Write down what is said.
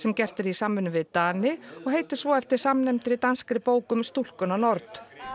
gert í samvinnu við Dani og heitir svo eftir samnefndri danskri bók um stúlkuna nord